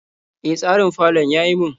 E, tsarin falon ya yi min.